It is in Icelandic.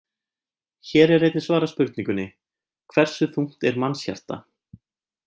Hér er einnig svarað spurningunni: Hversu þungt er mannshjarta?